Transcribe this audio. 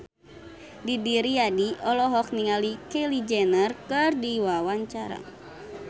Didi Riyadi olohok ningali Kylie Jenner keur diwawancara